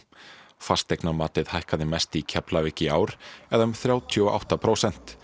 fasteignamatið hækkaði mest í Keflavík í ár eða um þrjátíu og átta prósent